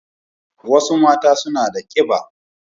Wasu mata suna da ƙiɓa